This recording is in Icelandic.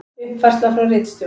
Uppfærsla frá ritstjórn: